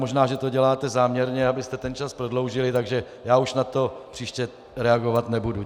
Možná že to děláte záměrně, abyste ten čas prodloužili, takže já už na to příště reagovat nebudu.